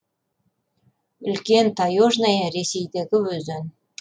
үлкен таежная ресейдегі өзен